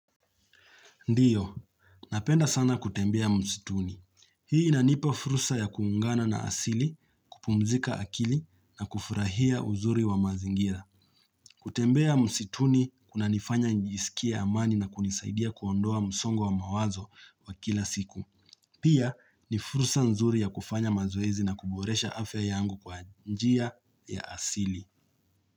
Ndio, napenda sana kutembea msituni. Hii inanipa fursa ya kuungana na asili, kupumzika akili, na kufurahia uzuri wa mazingira. Kutembea msituni kuna nifanya nijisikia amani na kunisaidia kuondoa msongo wa mawazo wa kila siku. Pia ni fursa nzuri ya kufanya mazoezi na kuboresha afya yangu kwa njia ya asili.